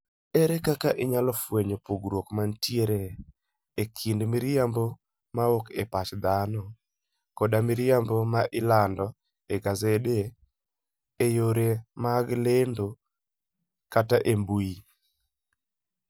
Ere kaka inyalo fwenyo pogruok mantie e kind miriambo mawuok e pach dhano koda miriambo ma ilando e gasede, e yore mag lendo, kata e mbui?